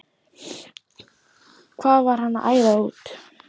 Hvað var hann að æða út?